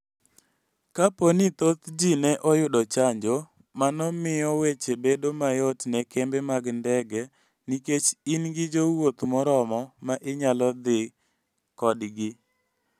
Kapo ni thoth ji ne oyudo chanjo, mano miyo weche bedo mayot ne kembe mag ndege nikech in gi jowuoth moromo ma inyalo dhi kodgi.